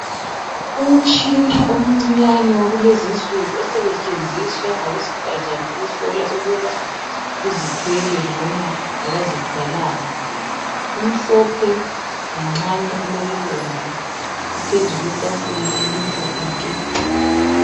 Umtshina omcinyane wakulezinsuku osetshenziswa ngabesifazane ukuhlola ukuba uzithwele noma akazithwalanga. Umhlophe, nganxanye ulokubomvu. Uphezu kwetafula elimhlophe nke.